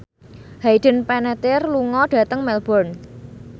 Hayden Panettiere lunga dhateng Melbourne